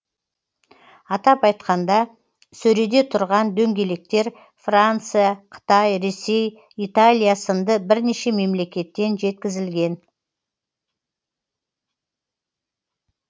атап айтқанда сөреде тұрған дөңгелектер франция қытай ресей италия сынды бірнеше мемлекеттен жеткізілген